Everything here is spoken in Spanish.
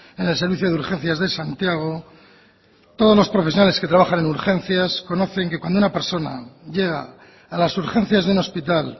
en el servicio de urgencias de santiago todos los profesionales que trabajan en urgencias conocen que cuando una persona llega a las urgencias de un hospital